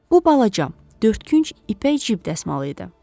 Bu balacam, dördkünc ipək cib dəsmalı idi.